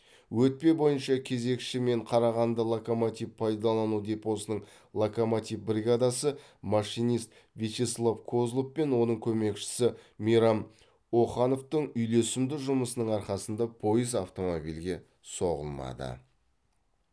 өтпе бойынша кезекші мен қарағанды локомотив пайдалану депосының локомотив бригадасы машинист вячеслав козлов пен оның көмекшісі мейрам охановтың үйлесімді жұмысының арқасында пойыз автомобильге соғылмады